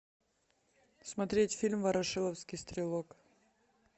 смотреть фильм ворошиловский стрелок